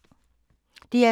DR2